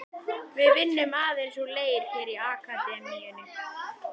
Við vinnum aðeins úr leir hér í Akademíunni.